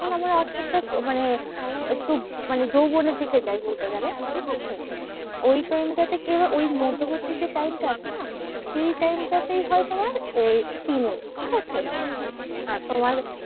যখন আমরা আসতে আসতে মানে একটু মানে যৌবনের দিকে যাই বলতে গেলে, ঠিকাছে? ওই time টা তে কি হবে? ওই মধ্যবর্তী যে time টা আছে না? সেই time টা তেই হয় তোমার আহ teenage ঠিকাছে?